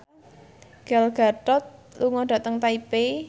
Gal Gadot lunga dhateng Taipei